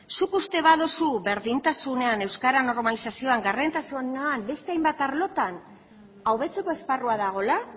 zuk uste baduzu berdintasunean euskeraren normalizazioan gardentasunean edo beste hainbat arlotan hobetzeko esparrua dagoela